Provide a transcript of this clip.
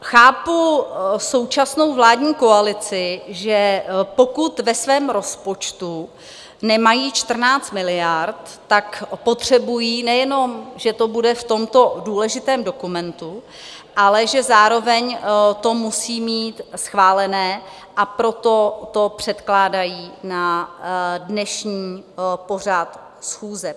Chápu současnou vládní koalici, že pokud ve svém rozpočtu nemají 14 miliard, tak potřebují nejenom, že to bude v tomto důležitém dokumentu, ale že zároveň to musí mít schválené, a proto to předkládají na dnešní pořad schůze.